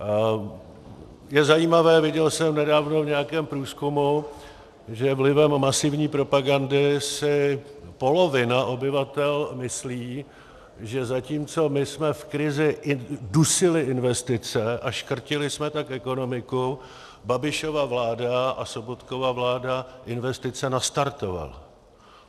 Je zajímavé, viděl jsem nedávno v nějakém průzkumu, že vlivem masivní propagandy si polovina obyvatel myslí, že zatímco my jsme v krizi dusili investice a škrtili jsme tak ekonomiku, Babišova vláda a Sobotkova vláda investice nastartovala.